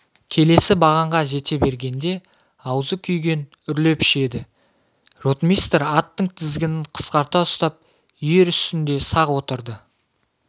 келесі бағанға жете бергенде аузы күйген үрлеп ішеді ротмистр аттың тізгінін қысқарта ұстап ер үстінде сақ отырды